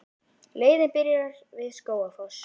Leiðin byrjar við Skógafoss.